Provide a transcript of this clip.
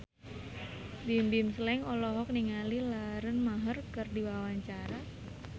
Bimbim Slank olohok ningali Lauren Maher keur diwawancara